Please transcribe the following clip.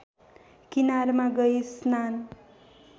किनारमा गई स्नान